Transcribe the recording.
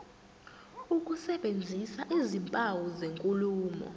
ukusebenzisa izimpawu zenkulumo